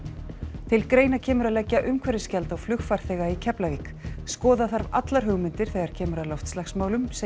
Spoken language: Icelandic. til greina kemur að leggja umhverfisgjald á flugfarþega í Keflavík skoða þarf allar hugmyndir þegar kemur að loftslagsmálum segir